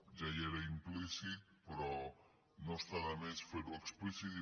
ja hi era im·plícit però no està de més fer·ho explícit